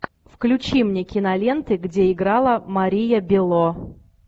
включи мне киноленты где играла мария бело